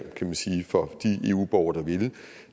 kan man sige for de eu borgere der ville